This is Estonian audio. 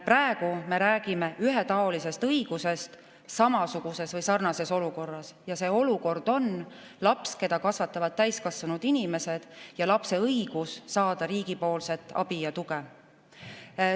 Praegu me räägime ühetaolisest õigusest samasuguses või sarnases olukorras ja see olukord on laps, keda kasvatavad täiskasvanud inimesed, ja lapse õigus saada riigi abi ja tuge.